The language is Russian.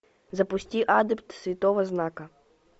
запусти адепт святого знака